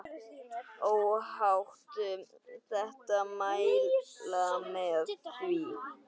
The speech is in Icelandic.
Óhætt að mæla með því.